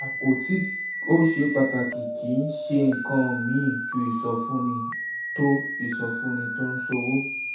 àpò tí ó ṣe pàtàkì kì í ṣe nǹkan míì ju ìsọfúnni tó ìsọfúnni tó ń ṣòwò